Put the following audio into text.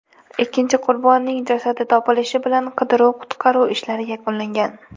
Ikkinchi qurbonning jasadi topilishi bilan qidiruv-qutqaruv ishlari yakunlangan.